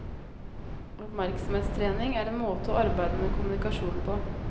Oppmerksomhetstrening er en måte å arbeide med kommunikasjon på.